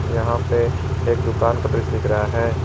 यहां पे एक दुकान का दृश्य दिख रहा है।